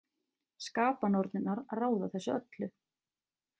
Skapanornirnar ráða þessu öllu.